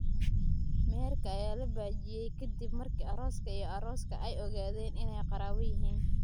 Meherka ayaa la baajiyay kadib markii arooska iyo arooska ay ogaadeen inay qaraabo yihiin.